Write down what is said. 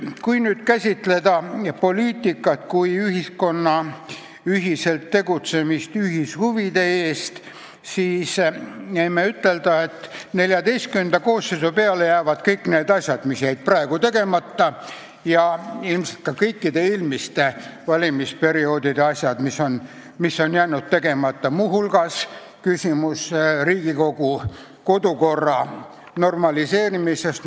Kui nüüd käsitada poliitikat kui ühiskonna ühiselt tegutsemist ühishuvide nimel, siis võime ütleda, et XIV koosseisu peale jäävad kõik need asjad, mis jäid praegu tegemata, ja ilmselt ka kõikide eelmiste valimisperioodide asjad, mis on jäänud tegemata, muu hulgas Riigikogu kodukorra normaliseerimine.